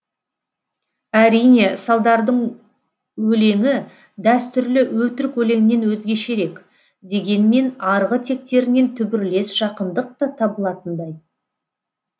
әрине салдардың өлеңі дәстүрлі өтірік өлеңнен өзгешерек дегенмен арғы тектерінен түбірлес жақындық та табылатындай